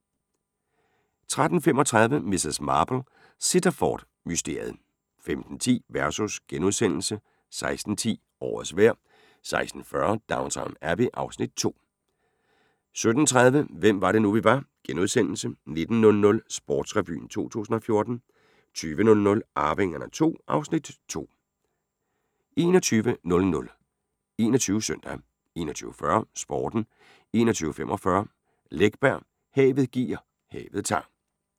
13:35: Miss Marple: Sittaford-mysteriet 15:10: Versus * 16:10: Årets vejr * 16:40: Downton Abbey (Afs. 2) 17:30: Hvem var det nu, vi var * 19:00: Sportsrevyen 2014 20:00: Arvingerne II (Afs. 2) 21:00: 21 Søndag 21:40: Sporten 21:45: Camilla Läckberg: Havet giver, havet tager